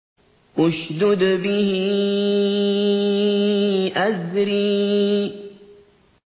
اشْدُدْ بِهِ أَزْرِي